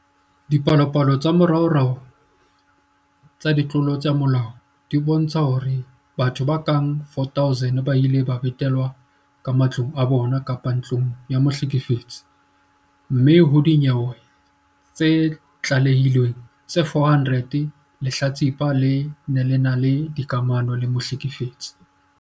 Dipalopalo tsa moraorao tsa ditlolo tsa molao di bontsha hore batho ba ka bang 4 000 ba ile ba betelwa ka matlong a bona kapa ntlong ya mohlekefetsi, mme ho dinyewe tse tlalehilweng tse 400, lehlatsipa le ne le ena le dikamano le mohlekefetsi.